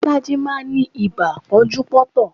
Bolaji máa ń ní ibà pọ́njú pọ́ntọ̀